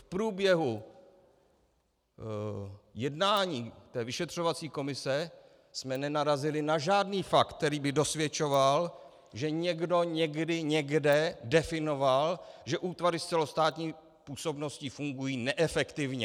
- V průběhu jednání té vyšetřovací komise jsme nenarazili na žádný fakt, který by dosvědčoval, že někdo někdy někde definoval, že útvary s celostátní působností fungují neefektivně.